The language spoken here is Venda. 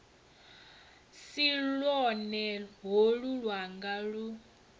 si lwone holu lwanga lu